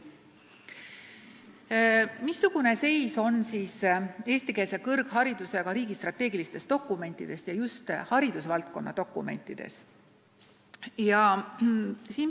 Aga mida öeldakse eestikeelse kõrghariduse kohta riigi strateegilistes dokumentides, just haridusvaldkonna dokumentides?